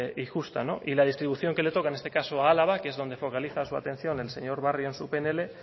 y justa y la distribución que le toca en este caso a álava que es donde focaliza su atención el señor barrio en su pnl